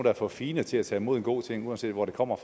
er for fine til at tage imod en god ting uanset hvor den kommer